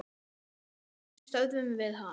Hvernig stöðvum við hann?